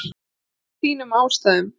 Af þínum ástæðum.